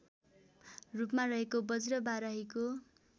रूपमा रहेको बज्रबाराहीको